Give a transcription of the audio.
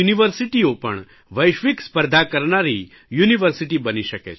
ભારતની યુનિવર્સિટીઓ પણ વૈશ્વિક સ્પર્ધા કરનારી યુનિવર્સીટી બની શકે છે